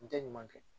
N tɛ ɲuman kɛ